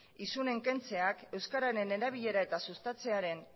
isunen kentzeak euskararen erabilera eta sustatzearen